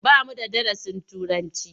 Ba mu da darasin Turanci.